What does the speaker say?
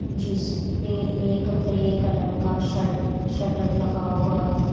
जिसपे एक grey colour का सटर लगा हुआ है।